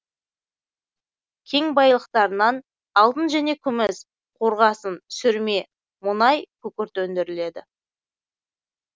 кен байлықтарынан алтын және күміс қорғасын сүрме мұнай күкірт өндіріледі